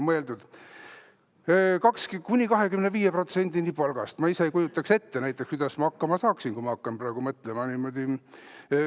Kuni 25%‑ni palgast – ma ise ei kujutaks ette, kuidas ma hakkama saaksin, kui ma hakkan praegu mõtlema niimoodi.